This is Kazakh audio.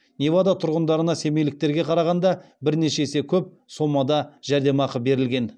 невада тұрғындарына семейліктерге қарағанда бірнеше есе көп сомада жәрдемақы берілген